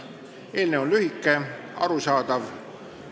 Eelnõu on lühike ja arusaadav.